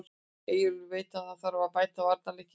Eyjólfur veit að það þarf að bæta varnarleikinn hjá okkur.